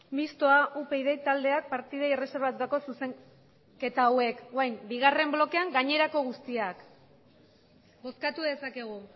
mistoa upyd taldeak partidei erreserbatutako zuzenketa hauek orain bigarren blokeak gainerako guztiak bozkatu dezakegu